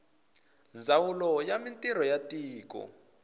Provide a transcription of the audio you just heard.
ndzawulo ya mintirho ya tiko